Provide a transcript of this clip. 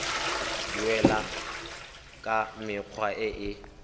duelwa ka mekgwa e e